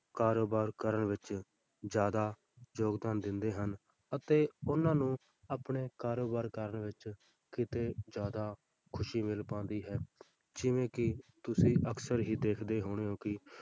ਕਾਰੋਬਾਰ ਕਰਨ ਵਿੱਚ ਜ਼ਿਆਦਾ ਯੋਗਦਾਨ ਦਿੰਦੇ ਹਨ, ਅਤੇ ਉਹਨਾਂ ਨੂੰ ਆਪਣੇ ਕਾਰੋਬਾਰ ਕਰਨ ਵਿੱਚ ਕਿਤੇ ਜ਼ਿਆਦਾ ਖ਼ੁਸ਼ੀ ਮਿਲ ਪਾਉਂਦੀ ਹੈ, ਜਿਵੇਂ ਕਿ ਤੁਸੀਂ ਅਕਸਰ ਹੀ ਦੇਖਦੇ ਹੋਣੇ ਹੋ ਕਿ